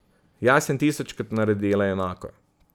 Jaz sem tisočkrat naredila enako.